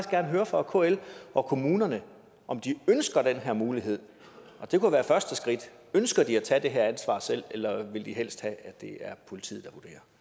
gerne høre fra kl og kommunerne om de ønsker den her mulighed og det kunne være første skridt ønsker de at tage det her ansvar selv eller vil de helst have at det er politiet